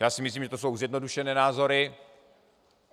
Já si myslím, že to jsou zjednodušené názory.